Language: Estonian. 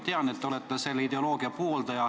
Tean, et te olete selle ideoloogia pooldaja.